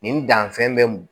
Nin danfɛn bɛ m